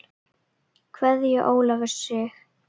Kveðja Ólafur Sig.